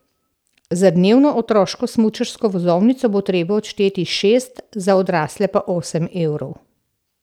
Za dnevno otroško smučarsko vozovnico bo treba odšteti šest, za odrasle pa osem evrov.